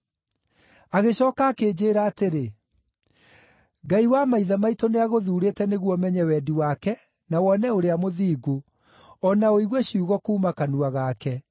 “Agĩcooka akĩnjĩĩra atĩrĩ, ‘Ngai wa maithe maitũ nĩagũthuurĩte nĩguo ũmenye wendi wake na wone Ũrĩa Mũthingu, o na ũigue ciugo kuuma kanua gake.